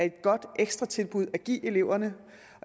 et godt ekstratilbud at give eleverne